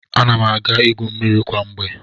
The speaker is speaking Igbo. Ana m aga igwu mmiri kwa mgbe.